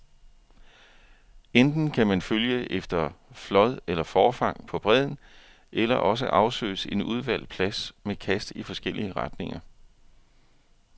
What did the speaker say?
Enten kan man følge efter flåd eller forfang på bredden, eller også afsøges en udvalgt plads med kast i forskellige retninger.